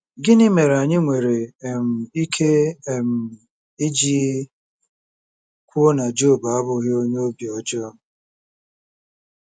Gịnị mere anyị nwere um ike um iji kwuo na Job abụghị onye obi ọjọọ?